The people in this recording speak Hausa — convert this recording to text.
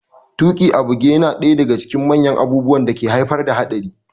Tuƙi a buge yana daya daga cikin manyan abubuwan da ke haifar da hatsari